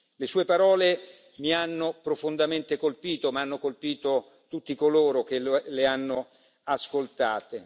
Le sue parole mi hanno profondamente colpito, ma hanno colpito tutti coloro che le hanno ascoltate.